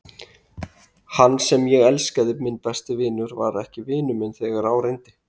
Hann sem ég elskaði, minn besti vinur, var ekki vinur minn þegar á reyndi.